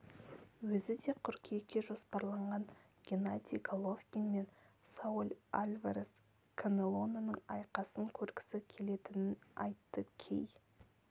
өзі де қыркүйекке жоспарланған геннадий головкин мен сауль альварес канелоның айқасын көргісі келетінін айтты кей